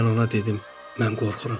Mən ona dedim, mən qorxuram.